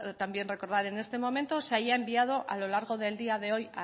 también recordar en este momento se haya enviado a lo largo del día de hoy